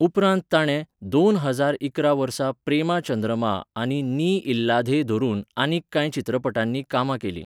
उपरांत ताणें, दोन हजार इकरा वर्सा प्रेमा चंद्रमा आनी नी इल्लाधे धरून, आनीक कांय चित्रपटांनी कामां केलीं.